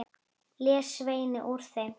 les Svenni úr þeim.